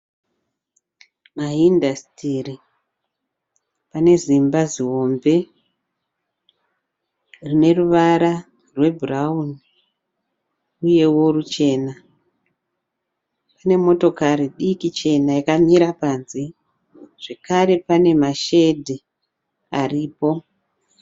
Maindastri ane zimba zihombe rine ruvara rwebhurauni uyewo ruchena . Zvakare